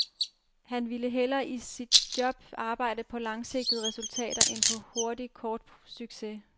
Han ville hellere i sit job arbejde på langsigtede resultater end på hurtig, kort succes.